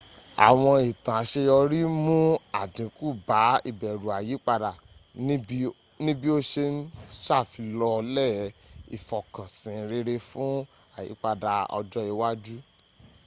àwọn ìtàn àseyọrí mún àdínkù bá ìbẹ̀rù àyípadà níbí ó se ń sàfilọ́lẹ̀ ìfọkànsìn rere fún àyípadapà ọjọ́ iwájú